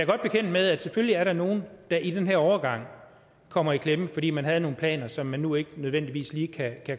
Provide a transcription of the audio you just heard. bekendt med at selvfølgelig er der nogle der i den her overgang kommer i klemme fordi man havde nogle planer som nu ikke nødvendigvis lige kan